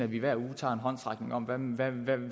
vi hver uge tager en håndsoprækning om om hvad vi